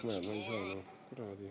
Näe, no ei saa.